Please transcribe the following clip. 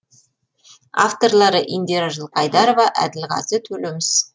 авторлары индира жылқайдарова әділғазы төлеміс